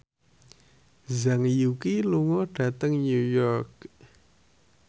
Zhang Yuqi lunga dhateng New York